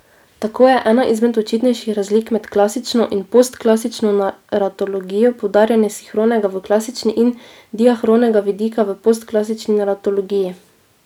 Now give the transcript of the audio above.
Tako je ena izmed očitnejših razlik med klasično in postklasično naratologijo poudarjanje sinhronega v klasični in diahronega vidika v postklasični naratologiji.